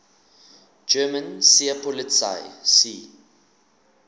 german seepolizei sea